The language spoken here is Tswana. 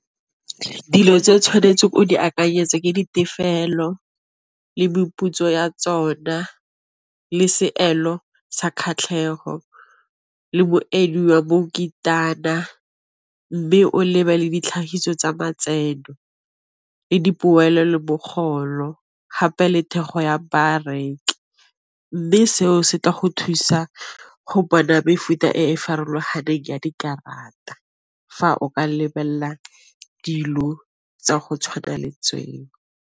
Dilo tse o tshwanetseng o di akanyetse ke ditefelelo le meputso ya tsona, le seelo sa kgatlhego, le Mme o lebelele ditlhagiso tsa matseno le dipoelo le mogolo gape le thekgo ya bareki. Mme seo se tla go thusa go bona mefuta e farologaneng ya dikarata, fa o ka lebelela dilo tsa go tshwana le tseo.